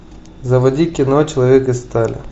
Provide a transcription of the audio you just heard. заводи кино человек из стали